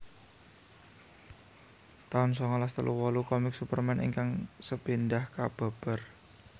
taun songolas telu wolu Komik Superman ingkang sepindhah kababar